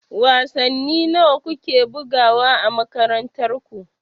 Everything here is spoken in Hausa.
Wasanni nawa ku ke bugawa a makarantar ku?